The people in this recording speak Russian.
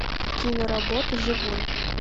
киноработа живой